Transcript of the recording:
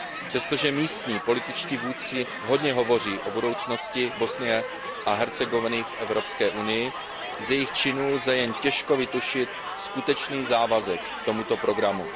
Přestože místní političtí vůdci hodně hovoří o budoucnosti Bosny a Hercegoviny v EU, z jejich činů lze jen těžko vytušit skutečný závazek k tomuto programu.